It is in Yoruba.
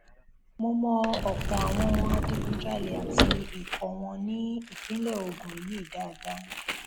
mo mọ ọpọ àwọn adigunjalè àti ikọ wọn ní ìpínlẹ ogun yìí dáadáa